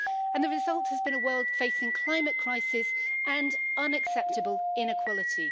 The result has been a world facing a climate crisis and unacceptable inequality.